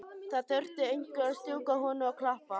Það þurfti einhver að strjúka honum og klappa.